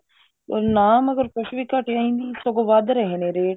ਨਾ ਮਗਰ ਕੁੱਛ ਵੀ ਘਟਿਆ ਨੀ ਸਗੋ ਵੱਧ ਰਹੇ ਨੇ rate